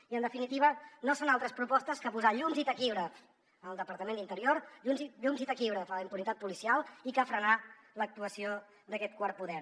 i en definitiva no són altres propostes que posar llums i taquígrafs en el departament d’interior llums i taquígrafs a la impunitat policial i frenar l’actuació d’aquest quart poder